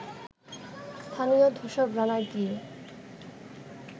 স্থানীয় ধূসর গ্রানাইট দিয়ে